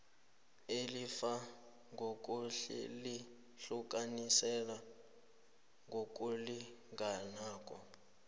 ilifa ngokulihlukaniselana ngokulinganako